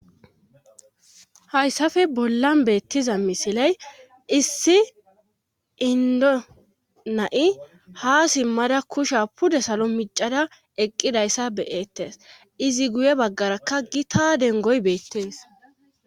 Hayssafe bolla beettiza misiley issi indo na7i ha simmada kusha pude salo micada eqqidayssa beyeettes izi guye baggarakka gi ta dengoy beettes.